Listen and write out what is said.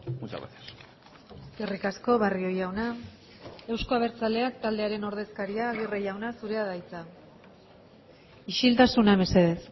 muchas gracias eskerrik asko barrio jauna euzko abertzaleak taldearen ordezkaria agirre jauna zurea da hitza isiltasuna mesedez